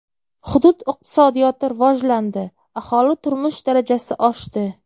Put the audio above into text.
Hudud iqtisodiyoti rivojlandi, aholi turmush darajasi oshdi.